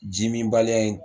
Jimin baliya in